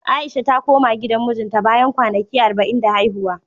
A'isha ta koma gidan mijinta, bayan kwanaki arba'in da haihuwa.